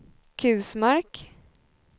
Kusmark